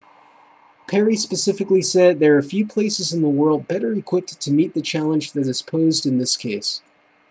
perry specifically said there are few places in the world better equipped to meet the challenge that is posed in this case